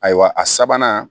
Ayiwa a sabanan